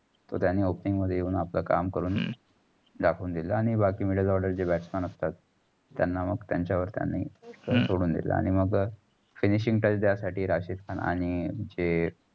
तो त्यानी opening मध्ये येऊन आपलं काम करून दाखवून दिल. बाकी middle order जे batsman असतात. त्याना मग त्यांचावर त्यांनी सोडुन दिल. आणि मग finishing जा साठी राशिद खान आणि जे